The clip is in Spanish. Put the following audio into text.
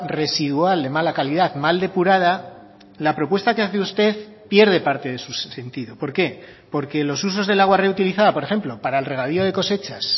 residual de mala calidad mal depurada la propuesta que hace usted pierde parte de su sentido por qué porque los usos del agua reutilizada por ejemplo para el regadío de cosechas